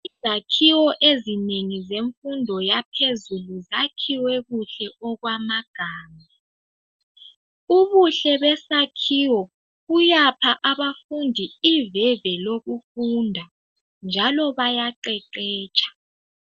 Izakhiwo ezinengi zemfundo yaphezulu zakhiwe kuhle okwamagama. Ubuhle besakhiwo buyapha abafundi iveve lokufunda, njalo bayaqeqetsha